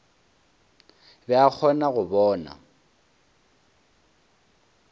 be a kgona go bona